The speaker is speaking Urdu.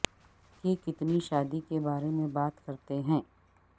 کی کتنی شادی کے بارے میں بات کرتے ہیں